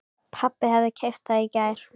Pabbi hafði keypt það í gær.